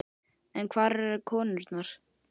En hvar eru konurnar?